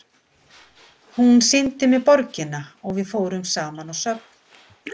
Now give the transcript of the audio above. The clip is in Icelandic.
Hún sýndi mér borgina og við fórum saman á söfn og svoleiðis.